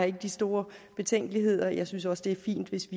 ikke de store betænkeligheder jeg synes også det er fint hvis